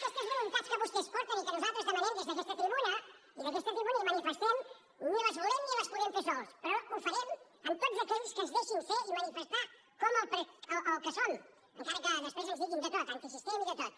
aquestes voluntats que vostès porten i que nosaltres demanem des d’aquesta tribuna i des d’aquesta tribuna manifestem ni les volem ni les podem fer sols però ho farem amb tots aquells que ens deixin ser i manifestar com el que som encara que després ens diguin de tot antisistema i de tot